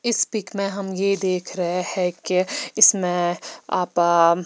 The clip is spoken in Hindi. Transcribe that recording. इस पिक में हम यह देख रहे हैं कि इसमें --